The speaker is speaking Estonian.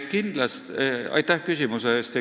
Aitäh küsimuse eest!